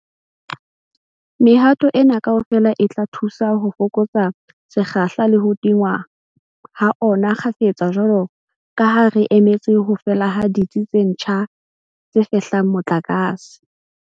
Mehato ena kaofela e tla thusa ho fokotsa sekgahla le ho tingwa ha ona kgafetsa jwalo ka ha re sa emetse ho fela ha ditsi tse ntjha tse fehlang motlakase.